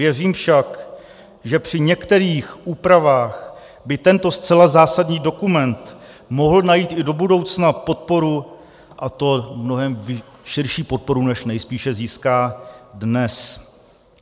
Věřím však, že při některých úpravách by tento zcela zásadní dokument mohl najít i do budoucna podporu, a to mnohem širší podporu, než nejspíše získá dnes.